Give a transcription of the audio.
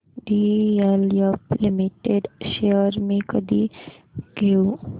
DLF limited shares मी कधी घेऊ